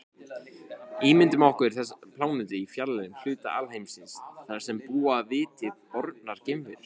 Ímyndum okkur plánetu í fjarlægum hluta alheimsins þar sem búa viti bornar geimverur.